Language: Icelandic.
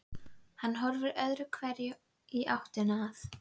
Hann horfði öðru hverju í áttina að